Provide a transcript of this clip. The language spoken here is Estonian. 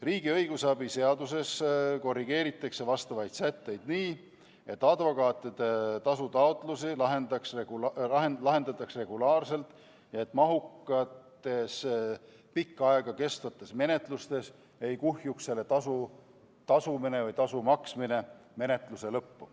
Riigi õigusabi seaduses korrigeeritakse vastavaid sätteid nii, et advokaatide tasutaotlusi lahendatakse regulaarselt, et mahukates, pikka aega kestvates menetlustes ei kuhjuks selle tasu maksmine menetluse lõppu.